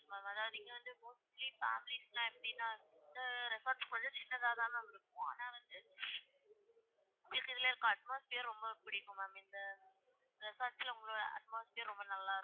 அதாவது இங்க வந்து mostly families லாம் எப்படினா, இந்த resort வந்து கொஞ்சம் சின்னதா தான் ma'am இருக்கும் ஆனா வந்து உங்களுக்கு இதுல இருக்கிற atmosphere ரொம்ப புடிக்கும் ma'am இந்த resort ல உங்களோட atmosphere ரொம்ப நல்லா இருக்கும்.